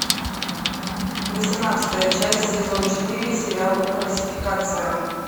восемнадцатая часть сезон четыре сериал фальсификация